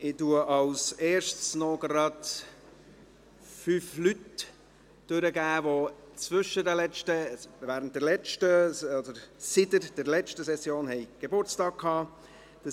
Ich gebe zuerst fünf Personen bekannt, die seit der letzten Session Geburtstag hatten: